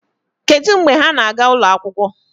Kedụ mgbe ha na-aga ụlọ akwụkwọ?